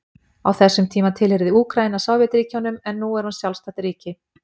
Á þessum tíma tilheyrði Úkraína Sovétríkjunum en nú er hún sjálfstætt ríki.